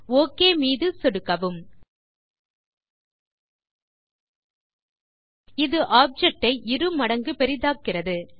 okay மீது சொடுக்கவும் இது ஆப்ஜெக்ட் ஐ இரு மடங்கு பெரிதாக்குகிறது